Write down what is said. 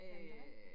Men dig?